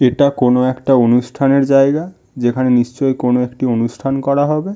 এটা কোনো একটা অনুষ্ঠানের জায়গা যেখানে নিশ্চই কোনো একটি অনুষ্ঠান করা হবে --